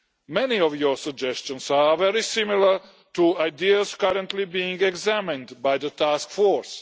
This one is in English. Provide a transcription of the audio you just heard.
Many of your suggestions are very similar to ideas currently being examined by the task force.